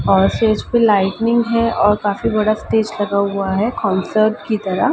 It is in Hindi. और स्टेज पे लाइटनिंग है और काफ़ी बड़ा स्टेज लगा हुआ है कॉन्सर्ट की तरह--